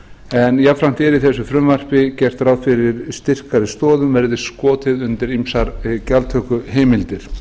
en jafnframt er í þessu frumvarp gert ráð fyrir að styrkari stoðum verði skotið undir gjaldtökuheimildir hér